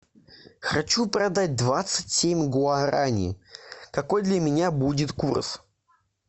хочу продать двадцать семь гуарани какой для меня будет курс